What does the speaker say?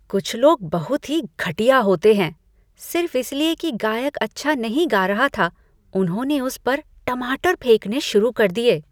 कुछ लोग बहुत ही घटिया होते हैं। सिर्फ इसलिए कि गायक अच्छा नहीं गा रहा था, उन्होंने उस पर टमाटर फेंकने शुरू कर दिए ।